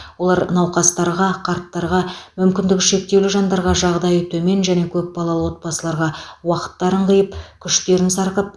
олар науқастарға қарттарға мүмкіндігі шектеулі жандарға жағдайы төмен және көпбалалы отбасыларға уақыттарын қиып күштерін сарқып